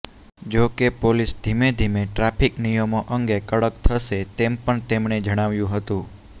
જો કે પોલીસ ધીમે ધીમે ટ્રાફીક નિયમો અંગે કડક થશે તેમ પણ તેમણે જણાવ્યુ હતું